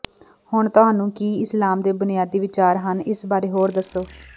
ਹੁਣ ਤੁਹਾਨੂੰ ਕੀ ਇਸਲਾਮ ਦੇ ਬੁਨਿਆਦੀ ਵਿਚਾਰ ਹਨ ਇਸ ਬਾਰੇ ਹੋਰ ਦੱਸੋ